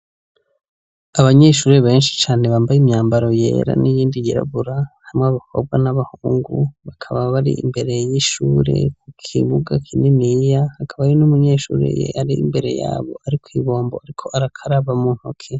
Abanyeshuri benshi cane bambaye imyambaro yera n'iyindi yirabura harimwo abakobwa n'abahungu, bakaba bari imbere y'ishure ku kibuga kininiya, hakaba hari n'umunyeshuri yari imbere yabo ariko kw'ibombo ariko arakaraba mu ntoke.